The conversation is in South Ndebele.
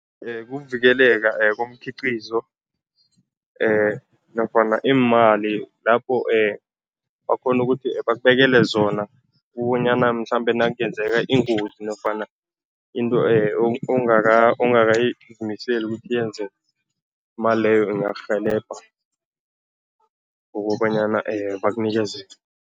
Kuvikeleka komkhiqizo nofana iimali lapho bakghona ukuthi bakubekele zona ukubonyana mhlambe nakungenzeka ingozi nofana into ongakazimiseli ukuthi yenzeke, imali leyo ingakurhelebha ngokobanyana bakunikeze.